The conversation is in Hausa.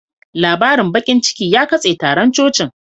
Labarin bakin ciki ya katse taron cocin